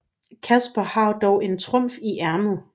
Casper har dog en trumf i ærmet